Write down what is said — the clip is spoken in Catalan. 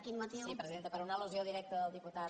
sí presidenta per una al·lusió directa del diputat